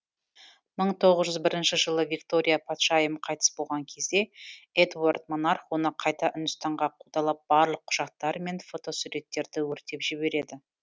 мың тоғыз жүз бірінші жылы виктория патшайым қайтыс болған кезде эдуард монарх оны қайта үндістанға қудалап барлық құжаттары мен фотосуреттерді өртеп жібереді